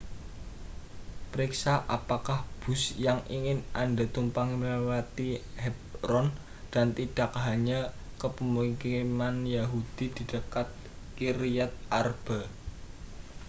periksa apakah bus yang ingin anda tumpangi melewati hebron dan tidak hanya ke pemukiman yahudi di dekat kiryat arba